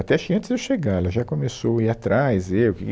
Até acho que antes de eu chegar, ela já começou a ir atrás, eu.